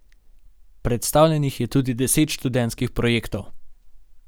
Predstavljenih je tudi deset študentskih projektov.